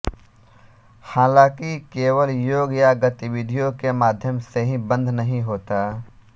हालाँकि केवल योग या गतिविधियों के माध्यम से ही बंध नहीं होता